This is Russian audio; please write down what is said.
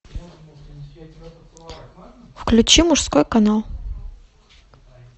включи мужской канал